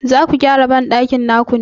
Zaku gyara banɗakin naku ne?